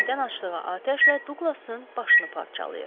Tüfəngdən açdığı atəşlə Douqlasın başını parçalayır.